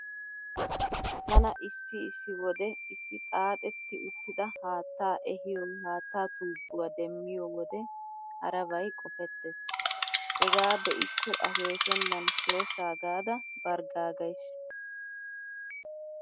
Tana issi issi wode issi xaaxetti uttida haattaa ehiyo haattaa tuubbuwa demmiyo wode harabay qofettees. Hegaa be'ikko akeekennan shooshshaa gaada barggaagays.